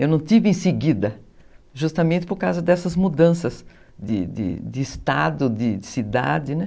Eu não tive em seguida, justamente por causa dessas mudanças de de estado, de cidade.